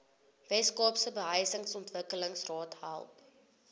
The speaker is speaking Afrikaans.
weskaapse behuisingsontwikkelingsraad help